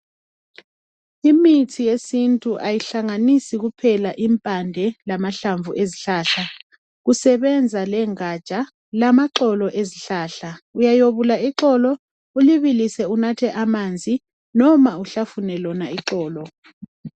Imithi yesintu kayihlanganisi kuphela impande lamahlamvu ezihlahla. Kusebenza lengaja, lamaxolo ezihlahla. Uyayobula ixolo, ulibilise, unathe amanzi. Loba uhlafune lona ixolo.